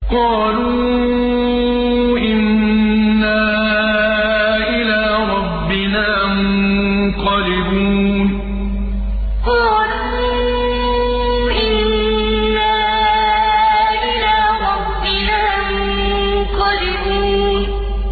قَالُوا إِنَّا إِلَىٰ رَبِّنَا مُنقَلِبُونَ قَالُوا إِنَّا إِلَىٰ رَبِّنَا مُنقَلِبُونَ